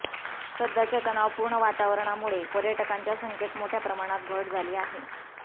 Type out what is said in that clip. सध्याच्या तणावपूर्ण वातावरणामुळे पर्यटकांच्या संख्येत मोठ्या प्रमाणात घट झाली आहे